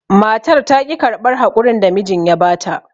Matar taƙi karɓar haƙurin da mijin ya bata.